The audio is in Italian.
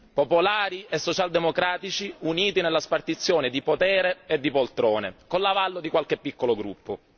Popolari e socialdemocratici uniti nella spartizione di potere e di poltrone con l'avallo di qualche piccolo gruppo.